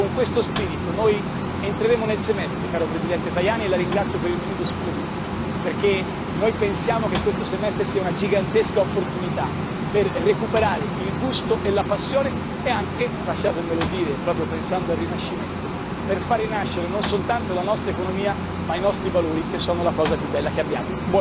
Con questo spirito noi entreremo nel semestre, caro Presidente Tajani, e la ringrazio per il minuto supplementare, perché noi pensiamo che questo semestre sia una gigantesca opportunità per recuperare il gusto e la passione e anche lasciatemelo dire, proprio pensando al Rinascimento per fare rinascere non soltanto la nostra economia ma i nostri valori che sono la cosa più bella che abbiamo.